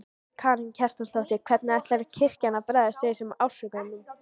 Karen Kjartansdóttir: Hvernig ætlar kirkjan að bregðast við þessum ásökunum?